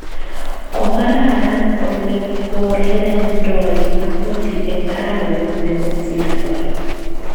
Kokararan ole kourerendoi Napoli eng arawet negosirtoi